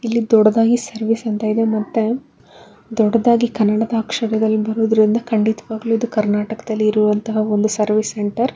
ಇಲ್ಲಿ ದೊಡ್ಡದಾಗಿ ಸರ್ವಿಸ್ ಅಂತ ಇದೆ ಮತ್ತೆ ದೊಡ್ಡದಾಗಿ ಕನ್ನಡದ ಅಕ್ಷರದಲ್ಲಿ ಬರುದ್ರಿಂದ ಖಂಡಿತವಾಗಲೂ ಕರ್ನಾಟಕದಲ್ಲಿ ಇರುವಂತ ಒಂದು ಸರ್ವಿಸ್ ಸೆಂಟರ್ .